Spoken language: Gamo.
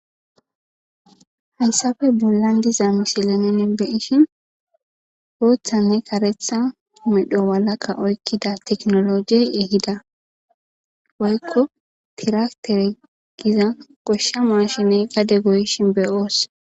Hayssappe bollan diza misile nuun beyishin booththanne kareththa medho mala oykida tekinolojey eehida woykko tirafite giza gooshsha maashine gadde goyishin be'os